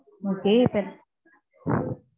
okay இப்போ